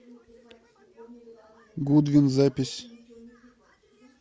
гудвин запись